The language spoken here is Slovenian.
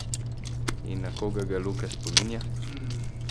In na koga ga Luka spominja?